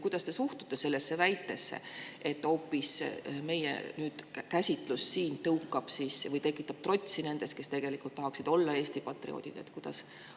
Kuidas te suhtute sellesse väitesse, et hoopis meie nüüdne käsitlus siin tõukab või tekitab trotsi nendes, kes tahaksid olla Eesti patrioodid?